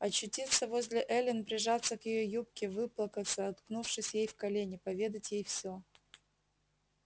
очутиться возле эллин прижаться к её юбке выплакаться уткнувшись ей в колени поведать ей все